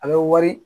A bɛ wari